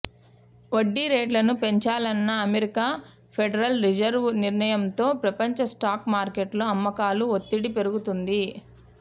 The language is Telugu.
వడ్డీ రేట్లను పెంచాలన్న అమెరికా ఫెడరల్ రిజర్వ్ నిర్ణయంతో ప్రపంచ స్టాక్ మార్కెట్లలో అమ్మకాల ఒత్తిడి పెరుగుతోంది